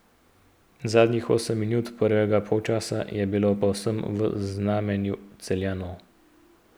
Zadnjih osem minut prvega polčasa je bilo povsem v znamenju Celjanov.